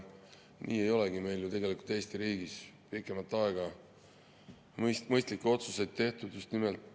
Nii ei olegi meil ju tegelikult Eesti riigis pikemat aega mõistlikke otsuseid tehtud.